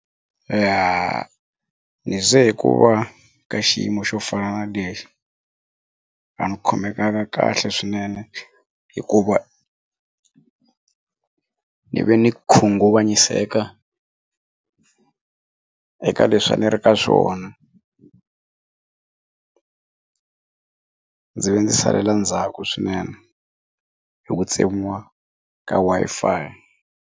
Ya ni ze hi ku va ka xiyimo xo fana na lexi a ndzi khomekanga kahle swinene hikuva ni ve ni khunguvanyise eka leswi a ni ri ka swona ndzi ve ndzi salela ndzhaku swinene hi ku tsemiwa ka Wi-Fi.